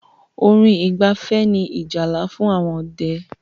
Orin ìgbafẹ́ ní ìjálá fún àwọn ọdẹ́.